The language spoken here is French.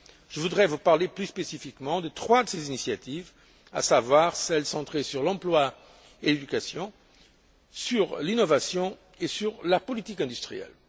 Je voudrais vous parler plus spécifiquement de trois de ces initiatives, à savoir celles centrées sur l'emploi et l'éducation, sur l'innovation et sur la politique industrielle.